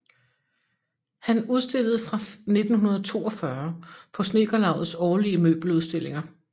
Han udstillede fra 1942 på Snedkerlaugets årlige møbeludstillinger